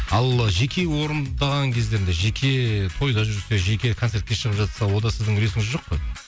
ал жеке орындаған кездерде жеке тойда жүрсе жеке концертке шығып жатса онда сіздің үлесіңіз жоқ қой